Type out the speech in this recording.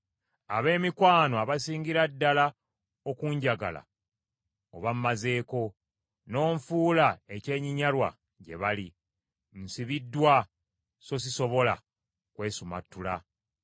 Ab’emikwano abasingira ddala okunjagala obammazeeko, n’onfuula ekyenyinyalwa gye bali. Nsibiddwa, so sisobola kwesumattula.